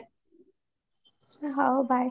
ହଉ bye